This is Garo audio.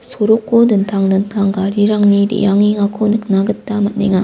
soroko dingtang dingtang garirangni re·angengako nikna gita man·a.